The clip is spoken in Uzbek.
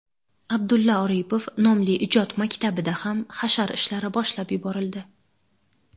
Abdulla Oripov nomli ijod maktabida ham hashar ishlari boshlab yuborildi.